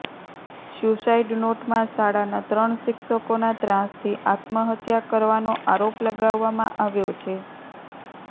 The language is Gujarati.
સ્યૂસાઇડ નોટમાં શાળાના ત્રણ શિક્ષકોના ત્રાસથી આત્મહત્યા કરવાનો આરોપ લગાવવામાં આવ્યો છે